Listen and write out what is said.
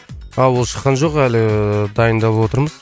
а ол шыққан жоқ әлі дайындап отырмыз